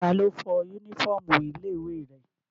Ta lo fọ yúnífọ̀mù ilé ìwé rẹ̀?